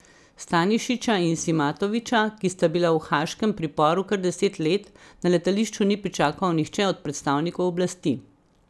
Stanišića in Simatovića, ki sta bila v haaškem priporu kar deset let, na letališču ni pričakal nihče od predstavnikov oblasti.